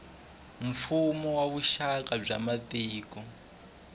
mfuwo na vuxaka bya matiko